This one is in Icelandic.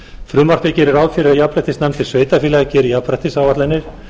frumvarpið gerir ráð fyrir að jafnréttisnefndir sveitarfélaga geri jafnréttisáætlanir